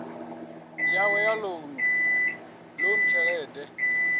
yawe ya lounu ḽoan tshelede